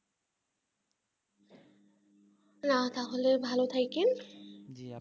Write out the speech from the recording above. না তাহলে ভালো থাকবেন